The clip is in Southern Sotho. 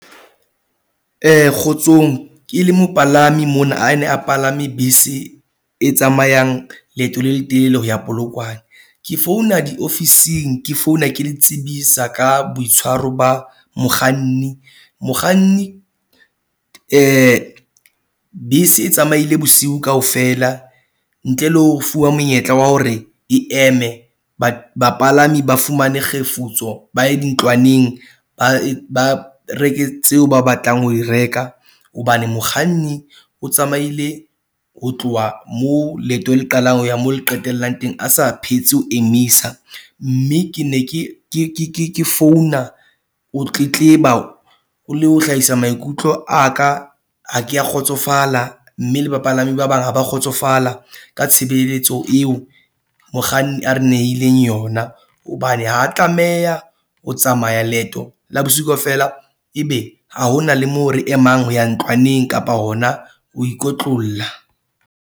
Kgotsong, ke le mopalami mona a ne a palame bese e tsamayang leeto le letelele ho ya Polokwane. Ke founa diofising ke founa ke le tsebisa ka boitshwaro ba mokganni. Mokganni bese e tsamaile bosiu kaofela. Ntle le ho fuwa monyetla wa hore e eme bapalami ba fumane kgefutso ba ye dintlwaneng, ba e ba reke tseo ba batlang ho e reka. Hobane mokganni o tsamaile ho tloha moo leeto le qalang ho ya moo le qetellang teng. A sa phetse ho emisa mme ke ne ke ke ke ke founa, ho tletleba le ho hlahisa maikutlo a ka. Ha ke a kgotsofala mme le bapalami ba bang ha ba kgotsofala ka tshebeletso eo mokganni a re nehileng yona. Hobane ha tlameha ho tsamaya leeto la bosiu kaofela, ebe ha ho na le moo re emang ho ya ntlwaneng kapa hona ho ikotlolla.